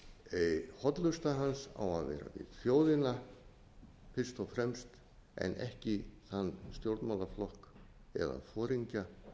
hollusta hans á að vera við þjóðina fyrst og fremst en ekki þann stjórnmálaflokk eða foringja